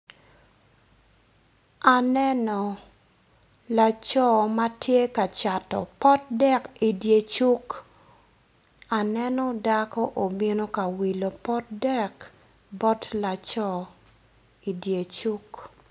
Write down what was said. Aneno laco ma tye ka cato pot dek idye cuk aneno dako obino ka wilo pot dek bot laco idye cuk.